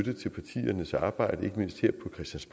civile ministre